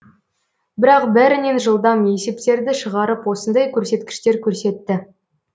бірақ бәрінен жылдам есептерді шығарып осындай көрсеткіштер көрсетті